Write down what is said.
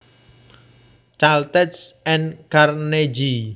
Caltech and Carnegie